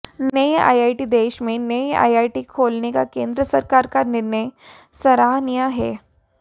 नये आईआईटी देश में नए आईआईटी खोलने का केंद्र सरकार का निर्णय सराहनीय है